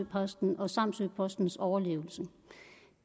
posten og samsø postens overlevelse